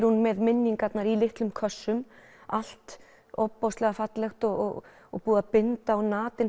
hún með minningarnar í litlum kössum allt ofboðslega fallegt og og búið að binda á